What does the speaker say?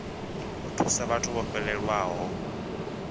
u thusa vhathu vho fhelelwaho